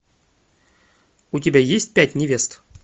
у тебя есть пять невест